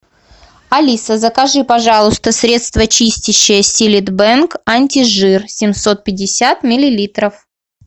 алиса закажи пожалуйста средство чистящее силит бенг антижир семьсот пятьдесят миллилитров